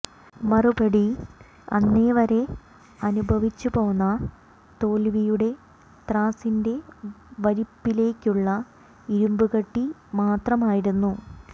മറുപടി അന്നേവരെ അനുഭവിച്ചു പോന്ന തോൽവിയുടെ ത്രാസിന്റെ വലിപ്പിലേയ്ക്കുള്ള ഇരുമ്പുകട്ടി മാത്രമായിരുന്നു